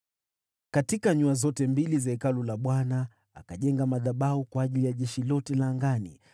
Katika nyua zote mbili za Hekalu la Bwana , akajenga madhabahu kwa ajili ya jeshi lote la angani.